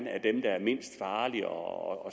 mindst farligt og